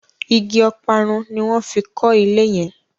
ìgi Ọparun ní wón fí kò ilé yen.